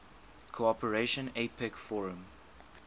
cooperation apec forum